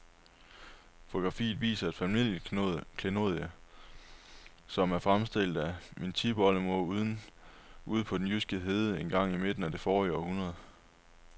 Fotografiet viser et familieklenodie, som er fremstillet af min tipoldemor ude på den jyske hede engang i midten af forrige århundrede.